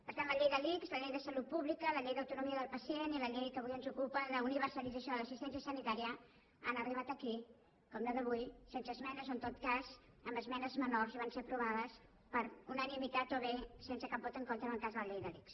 per tant la llei de l’ics la llei de salut pública la llei d’autonomia del pacient i la llei que avui ens ocupa d’universalització de l’assistència sanitària han arribat aquí com la d’avui sense esmenes o en tot cas amb esmenes menors i van ser aprovades per unanimitat o bé sense cap vot en contra en el cas de la llei de l’ics